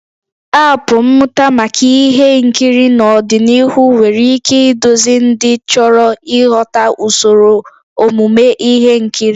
Aapụ mmụta maka ihe nkiri n'ọdịnihu nwere ike iduzi ndị chọrọ ịghọta usoro omume ihe nkiri